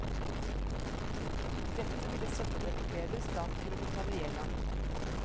Dette ville sette dem i bedre stand til å betale gjelda.